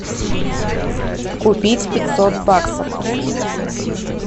купить пятьсот баксов